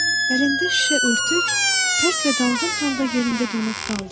Əlində şüşə örtük, pərt və dalğın halda yerində donub qaldı.